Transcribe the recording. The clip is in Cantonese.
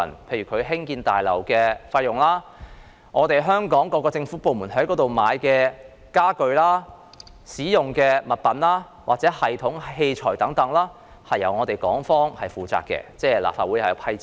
例如，興建大樓的部分費用，以及香港各政府部門購買大樓內使用的家具、物品、系統和器材等開支，皆由港方負責，由立法會撥款。